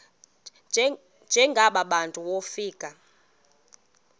njengaba bantu wofika